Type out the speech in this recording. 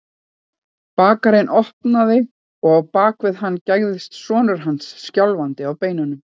Bakarinn opnaði og á bak við hann gægðist sonur hans, skjálfandi á beinunum.